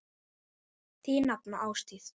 Þín nafna, Ásdís.